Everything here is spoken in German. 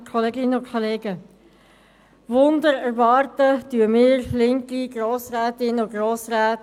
Wir linken Grossrätinnen und Grossräte erwarten sicher keine Wunder.